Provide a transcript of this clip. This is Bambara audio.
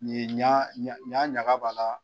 ɲa ɲaga b'a la.